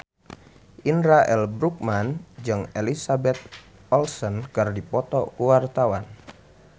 Indra L. Bruggman jeung Elizabeth Olsen keur dipoto ku wartawan